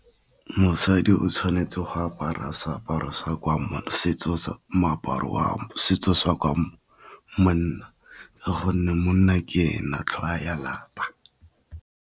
Mosadi o tshwanetse go apara seaparo moaparo wa setso sa kwa manna ka gonne monna ke ena tlhogo ya lapa.